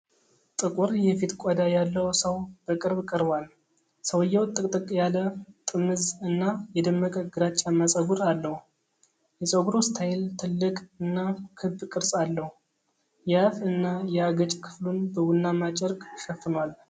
ጥቁር የፊት ቆዳ ያለው ሰው በቅርብ ቀርቧል። ሰውየው ጥቅጥቅ ያለ፣ ጥምዝ እና የደመቀ ግራጫማ ፀጉር አለው። የፀጉሩ ስታይል ትልቅ እና ክብ ቅርጽ አለው። የአፍ እና የአገጭ ክፍሉን በቡናማ ጨርቅ ሸፍኗል።